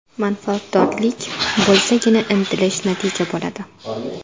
Manfaatdorlik bo‘lsagina, intilish, natija bo‘ladi.